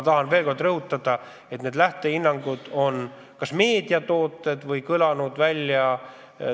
Tahan veel kord rõhutada, et need lähtehinnangud on kas meediatooted või mujalt antud.